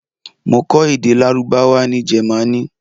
Mo kó èdè Lárúbáwá ní Jẹ́mánì.